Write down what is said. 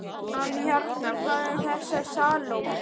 En hérna- hvað um þessa Salóme?